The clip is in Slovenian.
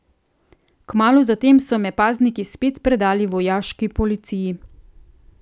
Kmalu zatem so me pazniki spet predali vojaški policiji.